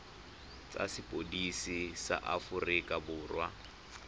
tsa sepodisi sa aforika borwa